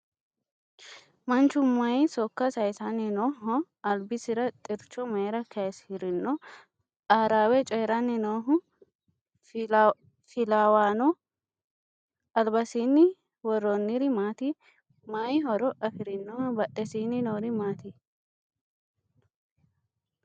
Manchu mayii sokko sayiisanni nooho? Albisira xiricho mayiira kayiisirino? Aarawe coyiiranni nooha filawanno? Albasiinni worroniri maati? Mayii horo afirinoho? Badhesiinni noori maati?